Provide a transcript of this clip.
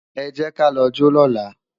Ẹ jẹ́ ká lọ jó lọ́la